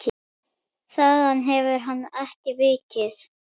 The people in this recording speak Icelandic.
Þaðan hefur hann ekki vikið.